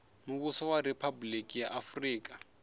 muvhuso wa riphabuliki ya afurika